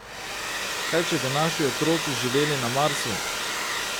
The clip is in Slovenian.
Kaj če bi naši otroci živeli na Marsu?